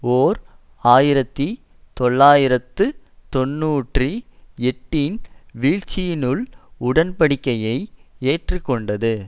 ஓர் ஆயிரத்தி தொள்ளாயிரத்து தொன்னூற்றி எட்டுஇன் வீழ்ச்சியில்னுள் உடன்படிக்கையை ஏற்றுக்கொண்டது